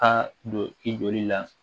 Ka don i joli la